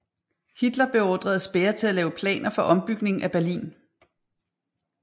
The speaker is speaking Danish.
Hitler beordrede Speer til at lave planer for ombygning af Berlin